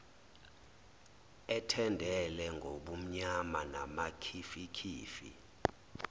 ethendele ngobumnyama namakhifikhifi